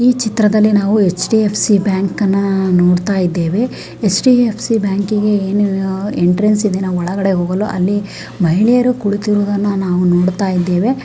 ಈ ಚಿತ್ರದಲ್ಲಿ ನಾವು ಹೆಚ್.ಡಿ.ಎಫ್. ಸಿ. ಬ್ಯಾಂಕ್ ಅನ್ನ ನೋಡ್ತಾ ಇದ್ದೇವೆ ಹೆಚ್.ಡಿ.ಎಫ್. ಸಿ. ಬ್ಯಾಂಕಿನ ಎಂಟ್ರನ್ಸ್ ಒಳಗೆ ಮಹಿಳೆಯರು ಕುಳಿತಿರುವುದನ್ನು ನಾವು ನೋಡ್ತಾ ಇದ್ದೇವೆ.